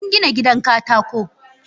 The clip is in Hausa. Eh, mun gina gidan katako.